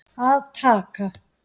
Að taka